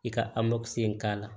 I ka in k'a la